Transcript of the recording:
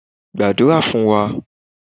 gbadura fun wa!